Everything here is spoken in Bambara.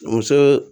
Muso